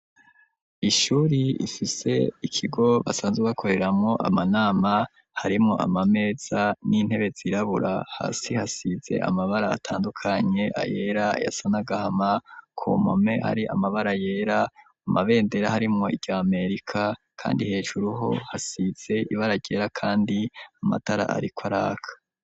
Ishuri rifise ikigo basanze bakoreramwo amanama harimwo amameza n'intebe zirabura hasi hasize amabara atandukanye ayera ayasa n'agahama ku mpome hari amabara yera mu mabendera harimwo irya Amerika kandi hejuru ho hasize ibara ryera kandi amatara ariko araka.